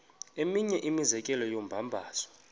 eminye imizekelo yombabazo